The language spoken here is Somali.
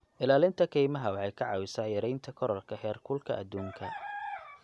Ilaalinta kaymaha waxay ka caawisaa yareynta kororka heerkulka adduunka.